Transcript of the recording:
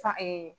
San